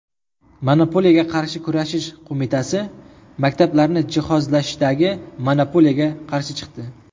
Monopoliyaga qarshi kurashish qo‘mitasi maktablarni jihozlashdagi monopoliyaga qarshi chiqdi.